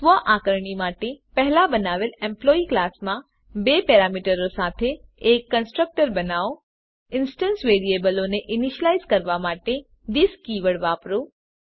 સ્વઆકારણી માટે પહેલાં બનાવેલ એમ્પ્લોયી ક્લાસમાં બે પેરામીટર સાથે એક કન્સ્ટ્રકટર બનાવો ઇન્સ્ટંસ વેરીએબલો ને ઇનીશલાઈઝ કરવાં માટે થિસ કીવર્ડ વાપરો